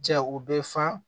Ja o bɛ fa